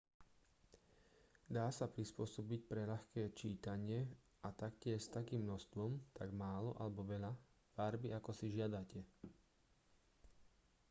dá sa prispôsobiť pre ľahké čítanie a taktiež s takým množstvom tak málo alebo veľa farby ako si žiadate